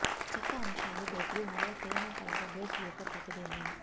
చెక్క అంశాలు bedroom లో తేనె కలప బెడ్ యొక్క ప్రతిబింబం